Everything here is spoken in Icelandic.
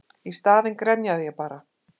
Í staðinn grenjaði ég bara.